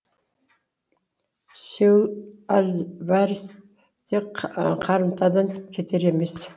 сауль альварес те қарымтадан кетар емес